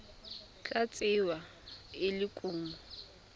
tla tsewa e le kumo